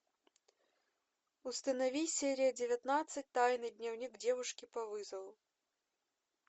установи серия девятнадцать тайный дневник девушки по вызову